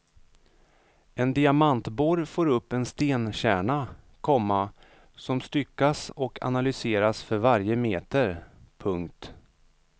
En diamantborr får upp en stenkärna, komma som styckas och analyseras för varje meter. punkt